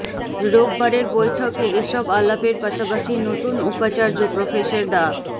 রোববারের বৈঠকে এসব আলাপের পাশাপাশি নতুন উপাচার্য প্রফেসর ডা